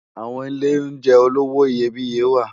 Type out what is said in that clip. Awòn ilé óunjè ólowò iyébìyé wá